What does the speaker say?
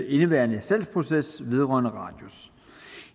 indeværende salgsproces vedrørende radius